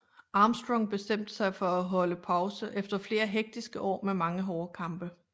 Armstrong bestemte sig for at holde pause efter flere hektiske år med mange hårde kampe